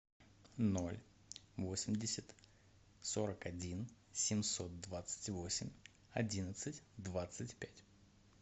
ноль восемьдесят сорок один семьсот двадцать восемь одиннадцать двадцать пять